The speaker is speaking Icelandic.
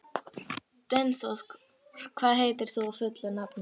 Dynþór, hvað heitir þú fullu nafni?